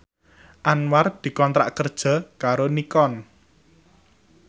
Anwar dikontrak kerja karo Nikon